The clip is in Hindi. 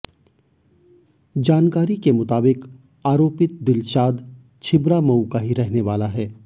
जानकारी के मुताबिक आरोपित दिलशाद छिबरामऊ का ही रहने वाला है